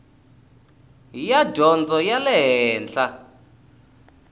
ya dyondzo ya le henhla